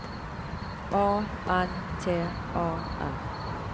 A N T A R